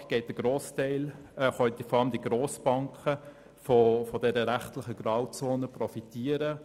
Heutzutage können vor allem Grossbanken von dieser rechtlichen Grauzone profitieren.